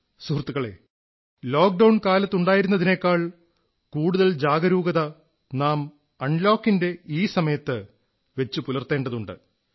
സുഹൃത്തുക്കളേ ലോക്ഡൌൺ കാലത്തുണ്ടായിരുന്നതിനേക്കാൾ കൂടുതൽ ജാഗരൂകത നാം അൺലോക് ന്റെ ഈ സമയത്ത് വച്ചു പുലർത്തേണ്ടതുണ്ട്